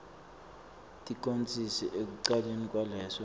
ticondziso ekucaleni kwaleso